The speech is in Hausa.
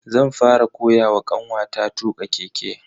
zan fara koyawa kanwata tuka keke.